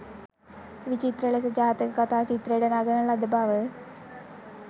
විවිත්‍ර ලෙස ජාතක කතා චිත්‍රයට නඟන ලද බව